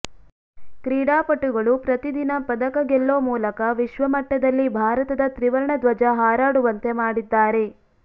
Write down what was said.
ಕ್ರೀಡಾಪಟುಗಳು ಪ್ರತಿ ದಿನ ಪದಕ ಗೆಲ್ಲೋ ಮೂಲಕ ವಿಶ್ವಮಟ್ಟದಲ್ಲಿ ಭಾರತದ ತ್ರಿವರ್ಣ ಧ್ವಜ ಹಾರಾಡುವಂತೆ ಮಾಡಿದ್ದಾರೆ